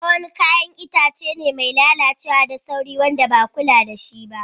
Ayaba wani yayan Itace be mai lallacewa da sauri, idan ba kulla da shi ba